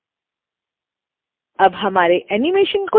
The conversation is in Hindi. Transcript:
अब हमारे एनीमेशन को चलाकर देखते हैं